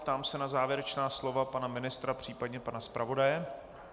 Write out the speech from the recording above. Ptám se na závěrečná slova pana ministra, případně pana zpravodaje.